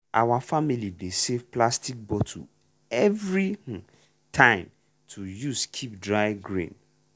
our family dey save plastic bottle every um time to use keep dry grain.